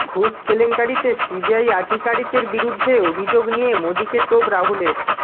ঘুষ কেলেঙ্কারিতে সিবিআই আধিকারিকের বিরুদ্ধে অভিযোগ নিয়ে মোদীকে তোপ রাহুলের